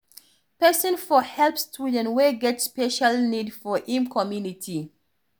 Person for help student wey get special needs for im commumity